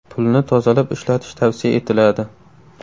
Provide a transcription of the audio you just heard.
Pulni tozalab ishlatish tavsiya etiladi.